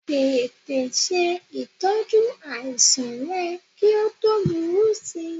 Tètè se itọju àìsàn rẹ kí o tó búrú sī